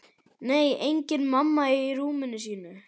Nei, engin mamma í rúminu sínu.